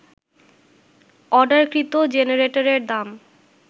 অর্ডারকৃত জেনারেটরের দাম